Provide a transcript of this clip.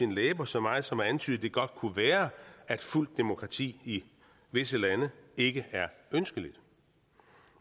læber så meget som at antyde at det godt kunne være at fuldt demokrati i visse lande ikke er ønskeligt